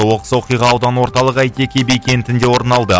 оқыс оқиға аудан орталығы әйтеке би кентінде орын алды